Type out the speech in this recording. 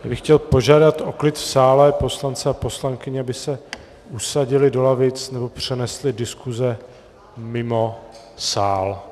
Já bych chtěl požádat o klid v sále, poslance a poslankyně, aby se usadili do lavic nebo přenesli diskuse mimo sál.